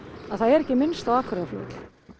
að það er ekki minnst á Akureyrarflugvöll